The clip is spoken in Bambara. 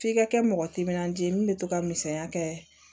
F'i ka kɛ mɔgɔ timinandiya ye min bɛ to ka misaliya kɛ